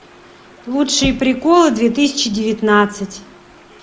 лучшие приколы две тысячи девятнадцать